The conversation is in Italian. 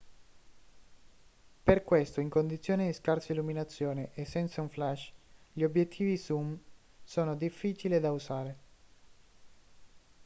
per questo in condizioni di scarsa illuminazione e senza un flash gli obiettivi zoom sono difficili da usare